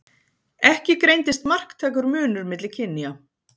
Ekki greindist marktækur munur milli kynja.